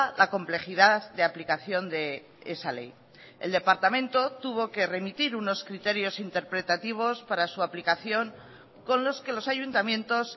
la complejidad de aplicación de esa ley el departamento tuvo que remitir unos criterios interpretativos para su aplicación con los que los ayuntamientos